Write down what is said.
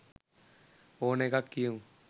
ඕන එකක් කියමු.